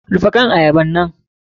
Rufe kan ayabar!